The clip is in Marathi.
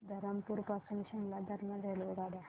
धरमपुर पासून शिमला दरम्यान रेल्वेगाड्या